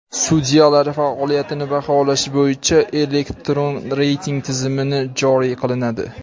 sudyalar faoliyatini baholash bo‘yicha elektron reyting tizimini joriy qilinadi.